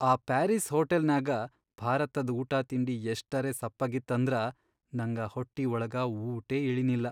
ಆ ಪಾರೀಸ್ ಹೋಟಲ್ನ್ಯಾಗ ಭಾರತದ್ ಊಟಾತಿಂಡಿ ಎಷ್ಟರೇ ಸಪ್ಪಗಿತ್ತಂದ್ರ ನಂಗ ಹೊಟ್ಟಿ ಒಳಗ ಊಟೇ ಇಳಿನಿಲ್ಲ.